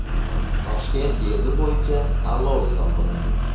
Toshkent gerbi bo‘yicha tanlov e’lon qilindi.